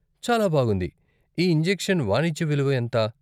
చాలా బాగుంది! ఈ ఇంజెక్షన్ వాణిజ్య విలువ ఎంత?